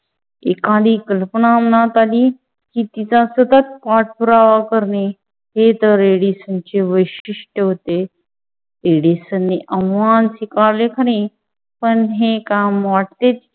एखादी कल्पना मनात आली की, तिचा सतत पाठपुरावा करणे हे तर एडिसनचे वैशिष्ट्य होते. एडिसनने आव्हान स्वीकारले खरे, पण हे काम वाटते.